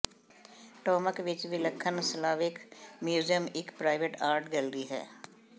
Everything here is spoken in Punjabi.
ਟੌਮਕ ਵਿਚ ਵਿਲੱਖਣ ਸਲਾਵਿਕ ਮਿਊਜ਼ੀਅਮ ਇਕ ਪ੍ਰਾਈਵੇਟ ਆਰਟ ਗੈਲਰੀ ਹੈ